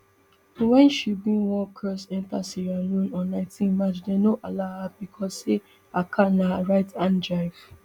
wen she bin wan cross enta sierra leone on nineteen march dem no allow her becos say her car na right hand drive